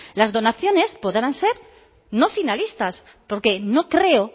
las donaciones podrán ser no finalistas porque no creo